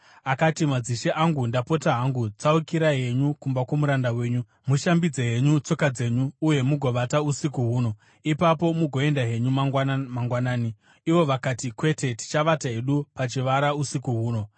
Akati, “Madzishe angu, ndapota hangu tsaukirai henyu kumba kwomuranda wenyu. Mushambidze henyu tsoka dzenyu uye mugovata usiku huno, ipapo mugoenda henyu mangwana mangwanani.” Ivo vakati, “Kwete, tichavata hedu pachivara usiku huno.”